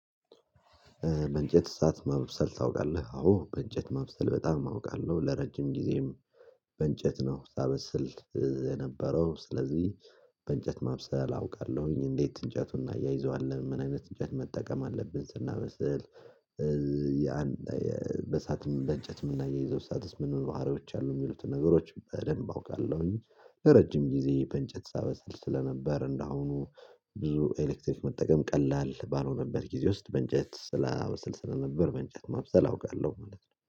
በእንጨት እሳት ማብሰል ታውቃለህ አዎ በእንጨት ማብሰል በጣም አውቃለሁ ለረጅም ጊዜም በእንጨት ነው ሳበስል እዚህ የነበረው ስለዚህ በእንጨት ማብሰል አውቃለሁኝ። እንዴት እንጨቱን እናያይዘዋለን ምን አይነት እንጨት መጠቀም አለብን? ስናበስል ያን በሰአትም በእንጨትም እና የሚናያይዘው ምንምን ባህሪዎች አሉ የሚሉትን ነገሮች በደንብ አውቃለሁኝ። ለረጅም ጊዜ በእንጨት ሳበሰል ስለነበር እንደሆኑ ብዙ ኤሌክትሪክ መጠቀም ቀላል ባልሆነበት ጊዜ ውስጥ በእንጨት ስል ስለነበር በእንጨት ማብሰል አውቃለሁ። ማለት ነው